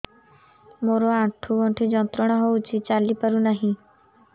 ମୋରୋ ଆଣ୍ଠୁଗଣ୍ଠି ଯନ୍ତ୍ରଣା ହଉଚି ଚାଲିପାରୁନାହିଁ